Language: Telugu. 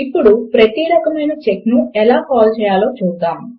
ఇప్పుడు ప్రతి రకమైన చెక్ ను ఎలా కాల్ చేయాలో చూద్దాము